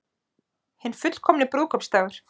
Hinn fullkomni brúðkaupsdagur